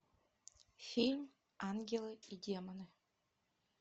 фильм ангелы и демоны